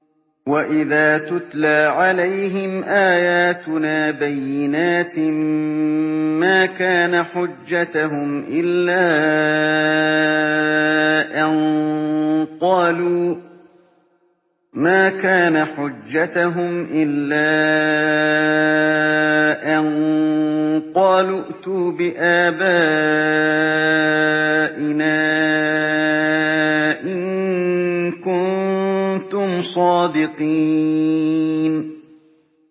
وَإِذَا تُتْلَىٰ عَلَيْهِمْ آيَاتُنَا بَيِّنَاتٍ مَّا كَانَ حُجَّتَهُمْ إِلَّا أَن قَالُوا ائْتُوا بِآبَائِنَا إِن كُنتُمْ صَادِقِينَ